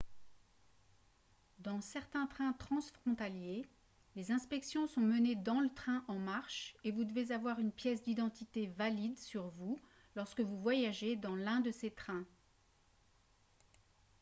dans certains trains transfrontaliers les inspections sont menées dans le train en marche et vous devez avoir une pièce d'identité valide sur vous lorsque vous voyagez dans l'un de ces trains